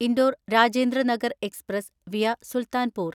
Indore Rajendranagar express (via Sultanpur)